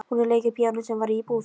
Hún lék á píanó sem var í íbúð